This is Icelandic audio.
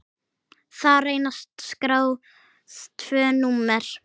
Þar reynast skráð tvö númer.